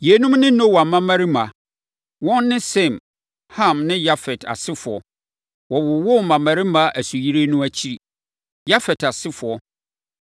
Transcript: Yeinom ne Noa mmammarima: Wɔn ne Sem, Ham ne Yafet asefoɔ. Wɔwowoo mmammarima nsuyire no akyiri. Yafet Asefoɔ